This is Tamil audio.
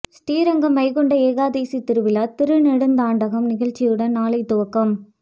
ஸ்ரீரங்கம் வைகுண்ட ஏகாதசி திருவிழா திருநெடுந்தாண்டகம் நிகழ்ச்சியுடன் நாளை துவக்கம்